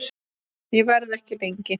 Ég verð ekki lengi